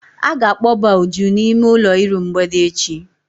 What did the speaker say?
A ga-akpọba Uju n'ime ụlọ iru mgbede echi.